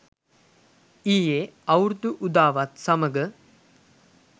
ඊයේ අවුරුදු උදාවත් සමඟ